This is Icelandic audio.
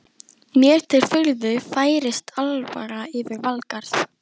Mér til furðu færist alvara yfir Valgarð.